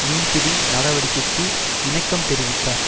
மீன்பிடி நடவடிக்கைக்கு இணக்கம் தெரிவித்தார்